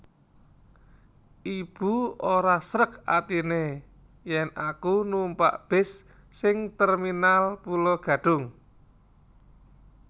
Ibu ora srek atine yen aku numpak bis sing Terminal Pulo Gadung